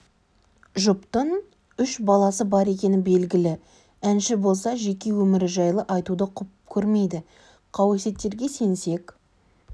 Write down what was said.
жұптың үш баласы бар екені белгілі әнші болса жеке өмірі жайлы айтуды құп көрмейді қауесеттерге сенсек